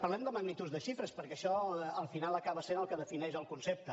parlem de magnituds de xifres perquè això al final acaba sent el que defineix el concepte